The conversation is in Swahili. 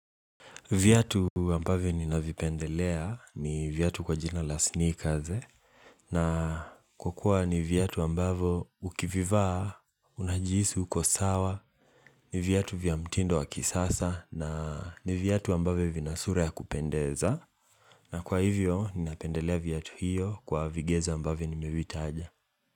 Viatu ambavyo ninavipendelea ni viatu kwa jina la sneakerz na kwakua ni viatu ambavyo ukivivaa, unajihisi, uko sawa, ni vyatu vya mtindo wa kisasa na ni viatu ambavyo vinasura ya kupendeza na kwa hivyo ni napendelea viatu hiyo kwa vigezo ambavyo nimevitaja.